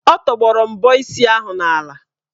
Ọ tọgbọrọ mbọ isi ahụ n'ala.